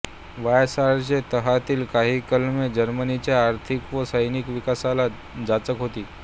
व्हर्सायच्या तहातील काही कलमे जर्मनीच्या आर्थिक व सैनिकी विकासाला जाचक होती